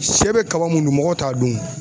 Shɛ bɛ kaba mun dun, mɔgɔ t'a dun.